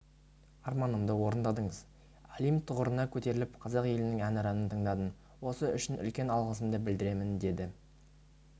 арманымды орындадыңыз олимп тұғырына көтеріліп қазақ елінің әнұранын тыңдадым осы үшін үлкен алғысымды білдіремін деді